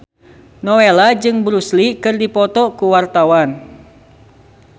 Nowela jeung Bruce Lee keur dipoto ku wartawan